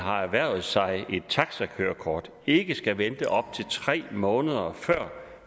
har erhvervet sig et taxakørekort ikke skal vente op til tre måneder før